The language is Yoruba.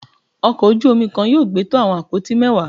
ọkò ojú omí kan yóò gbé to awọn apoti mẹwa.